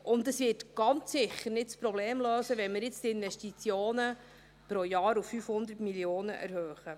Es wird das Problem ganz sicher nicht lösen, wenn wir jetzt die Investitionen pro Jahr auf 500 Mio. Franken erhöhen.